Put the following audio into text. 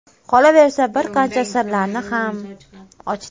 Qolaversa, bir qancha sirlarini ham ochdi.